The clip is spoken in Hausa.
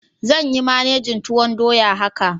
Zan yi managin tuwoydoya haka.